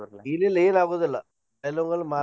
ಇಲ್ಲಿಲ್ಲ ಏನ್ ಆಗುದಿಲ್ಲ.